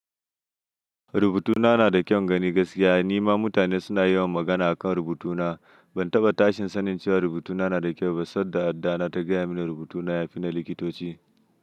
Rubutuna na da kyaun gani gaskiya. Ni ma mutane suna yawan magana a kan rubutuna. Ban taɓa tashin sanin cewar rubutuna na da kyau ba, sadda addana ta gaya mini rubutuna ya fi na likitoci.